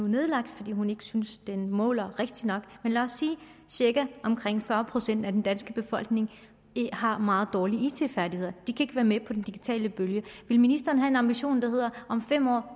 nedlagt fordi hun ikke synes det måler rigtigt nok lad os sige at omkring fyrre procent af den danske befolkning har meget dårlige it færdigheder de kan være med på den digitale bølge vil ministeren have en ambition der hedder om fem år